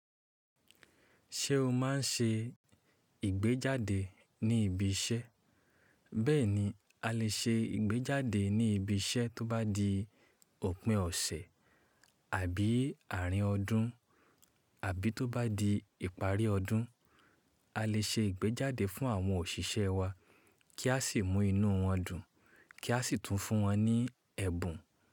Ṣé o máa ń ṣe ìgbéjáde ní ibi iṣẹ́? Bẹ́ẹ̀ni, a lè ṣe ìgbéjáde ní ibi iṣẹ́ tó bá di òpin ọ̀sẹ̀ àbí àárín ọdún àbí tó bá di ìparí ọdún. A lè ṣe ìgbéjáde fún àwọn òṣìṣẹ́ wa kí a sì mú inú wọn dùn, kí a sì tún fún wọn ní ẹ̀bùn.